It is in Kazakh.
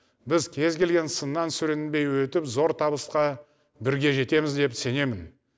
біз кез келген сыннан сүрінбей өтіп зор табысқа бірге жетеміз деп сенемін